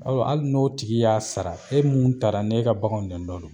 Ɔ hali n'o tigi y'a sara e mun taara n'e ka baganw de nɔ don